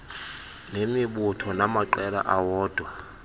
nemibutho namaqela awodwa